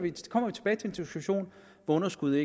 burde kunne